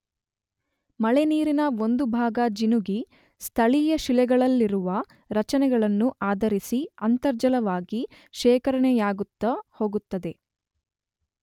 ಮಳೆ ನೀರಿನ ಒಂದು ಭಾಗ ಜಿನುಗಿ ಸ್ಥಳೀಯ ಶಿಲೆಗಳಲ್ಲಿರುವ ರಚನೆಗಳನ್ನು ಆಧರಿಸಿ ಅಂತರ್ಜಲವಾಗಿ ಶೇಖರಣೆಯಾಗುತ್ತ ಹೋಗುತ್ತದೆ.